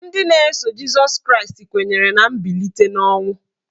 Ndị na-eso Jịsọs Kraịst kwenyere na mbilite n'ọnwụ.